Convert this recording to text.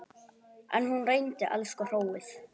En hún reyndi, elsku hróið.